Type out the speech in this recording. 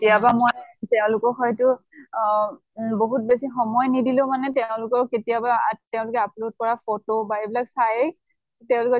কেতিয়াবা মই তেওঁলোকক হয়্তু বহুত বেছি সময় নিদিলেও মানে তেওঁলোকক কেতিয়াবা তেওঁলোকে upload কৰা photo বা এইবিলাক চাই তেওঁলোকৰ